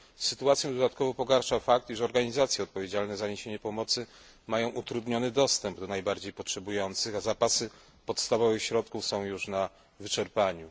Sytuację dodatkowo pogarsza fakt, iż organizacje odpowiedzialne za niesienie pomocy mają utrudniony dostęp do najbardziej potrzebujących, a zapasy podstawowych środków są już na wyczerpaniu.